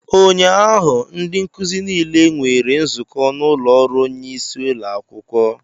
Ụnyaahụ ndị nkuzi niile nwere nzukọ n'ụlọ ọrụ onyeisi ụlọ akwụkwọ